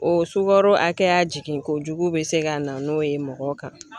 O sukaro hakɛya jigin kojugu bɛ se ka na n'o ye mɔgɔ kan.